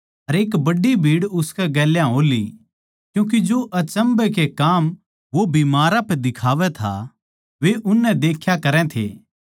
अर एक बड्डी भीड़ उसकै गेल्या हो ली क्यूँके जो अचम्भै के काम वो बीमारां पै दिखावै था वे उननै देख्या करै थे